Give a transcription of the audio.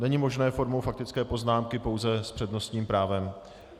Není možné formou faktické poznámky, pouze s přednostním právem.